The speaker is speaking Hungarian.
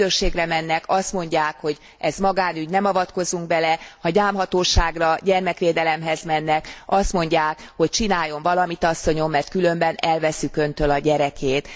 Ha a rendőrségre mennek, azt mondják, hogy ez magánügy, nem avatkozunk bele, ha a gyámhatóságra, gyermekvédelemhez mennek, azt mondják, hogy csináljon valamit asszonyom, mert különben elvesszük Öntől a gyerekét.